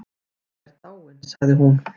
Anna er dáin sagði hún.